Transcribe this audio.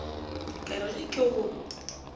ka re ge ke go